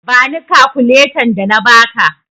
Bani kakuletan da na ba ka!